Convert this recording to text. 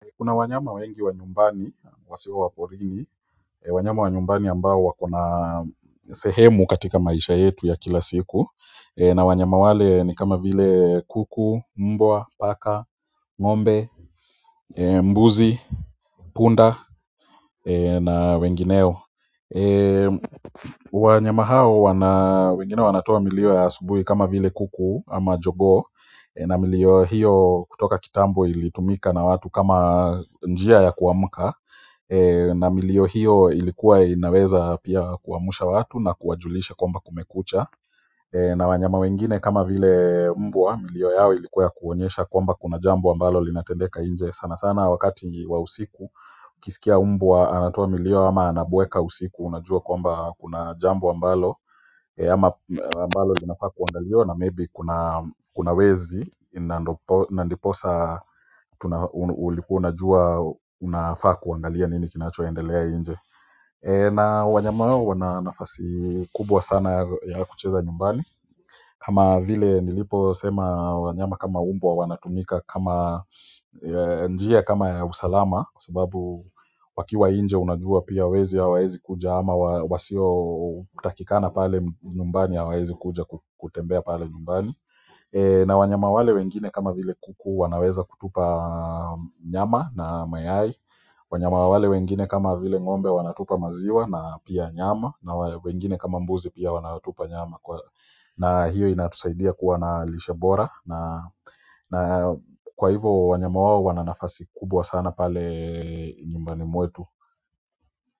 Kuna wanyama wengi wa nyumbani, wasio wa porini, wanyama wa nyumbani ambao wako na sehemu katika maisha yetu ya kila siku na wanyama wale ni kama vile kuku, mbwa, paka, ng'ombe, mbuzi, punda na wengineo wanyama hao wana wengine wanatoa milio ya asubuhi kama vile kuku ama jogoo na milio hiyo kutoka kitambo ilitumika na watu kama njia ya kuamka na milio hiyo ilikuwa inaweza pia kuamsha watu na kuwajulisha kwamba kumekucha na wanyama wengine kama vile mbwa milio yao ilikuwa ya kuonyesha kwamba kuna jambo ambalo linatendeka nje sana sana wakati wa usiku ukisikia mbwa anatoa milio ama anabweka usiku unajua kwamba kuna jambo ambalo ama ambalo linafaa kuangaliwa na maybe kuna wezi na ndiposa ulikuwa unajua unafaa kuangalia nini kinachoendelea nje na wanyama hao wana nafasi kubwa sana ya kucheza nyumbani kama vile niliposema wanyama kama mbwa wanatumika kama njia kama ya usalama sababu wakiwa nje unajua pia wezi hawaezi kuja ama wasiotakikana pale nyumbani hawaezi kuja kutembea pale nyumbani na wanyama wale wengine kama vile kuku wanaweza kutupa nyama na mayai wanyama wale wengine kama vile ng'ombe wanatupa maziwa na pia nyama na wengine kama mbuzi pia wanatupa nyama na hiyo inatusaidia kuwa na lisha bora na na kwa hivo wanyama wao wana nafasi kubwa sana pale nyumbani mwetu.